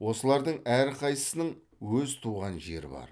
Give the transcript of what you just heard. осылардың әрқайсысының өз туған жері бар